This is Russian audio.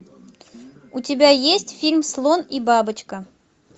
у тебя есть фильм слон и бабочка